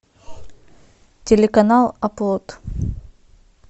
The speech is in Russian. телеканал оплот